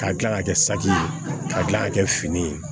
K'a kila ka kɛ saki ye k'a kila ka kɛ fini ye